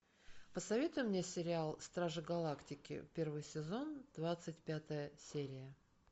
посоветуй мне сериал стражи галактики первый сезон двадцать пятая серия